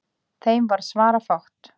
Þeim varð svarafátt.